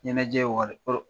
Ɲɛnajɛ wari